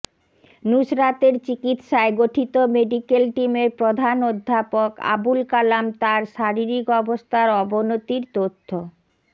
নুসরাতের চিকিৎসায় গঠিত মেডিকেল টিমের প্রধান অধ্যাপক আবুল কালাম তার শারীরিক অবস্থার অবনতির তথ্য